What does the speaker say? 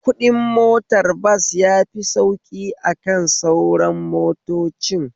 Kuɗin motar bas yafi sauƙi akan sauran motocin